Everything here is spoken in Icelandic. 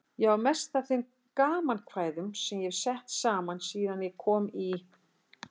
Ég á mest af þeim gamankvæðum sem ég hef sett saman síðan ég kom í